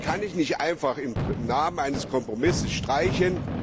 Das kann ich nicht einfach im Namen eines Kompromisses streichen.